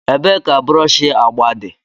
Ebee ka brọsh agba dị?